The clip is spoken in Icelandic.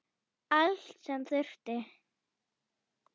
Allt sem þurfti.